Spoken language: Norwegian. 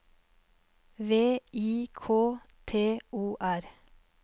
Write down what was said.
V I K T O R